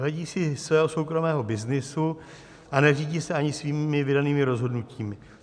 Hledí si svého soukromého byznysu a neřídí se ani svými vydanými rozhodnutími.